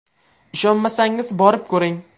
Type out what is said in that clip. Ishonmasangiz borib ko‘ring.